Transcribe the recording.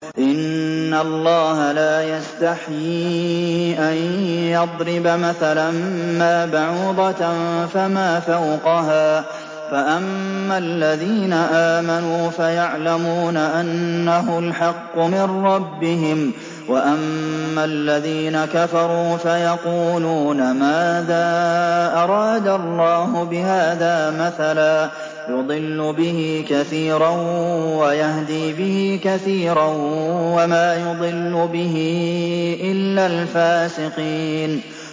۞ إِنَّ اللَّهَ لَا يَسْتَحْيِي أَن يَضْرِبَ مَثَلًا مَّا بَعُوضَةً فَمَا فَوْقَهَا ۚ فَأَمَّا الَّذِينَ آمَنُوا فَيَعْلَمُونَ أَنَّهُ الْحَقُّ مِن رَّبِّهِمْ ۖ وَأَمَّا الَّذِينَ كَفَرُوا فَيَقُولُونَ مَاذَا أَرَادَ اللَّهُ بِهَٰذَا مَثَلًا ۘ يُضِلُّ بِهِ كَثِيرًا وَيَهْدِي بِهِ كَثِيرًا ۚ وَمَا يُضِلُّ بِهِ إِلَّا الْفَاسِقِينَ